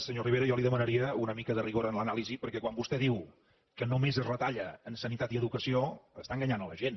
senyor rivera jo li demanaria una mica de rigor en l’anàlisi perquè quan vostè diu que només es retalla en sanitat i educació està enganyant la gent